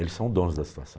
Eles são donos da situação.